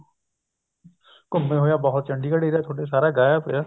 ਘੁੰਮੇ ਹੋਏ ਹਾਂ ਬਹੁਤ ਚੰਡੀਗੜ area ਥੋਡਾ ਸਾਰਾ ਗਾਇਆ ਪਿਆ